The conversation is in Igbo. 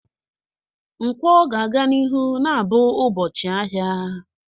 Nkwo ga-aga n'ihu na-abụ ụbọchị ahịa.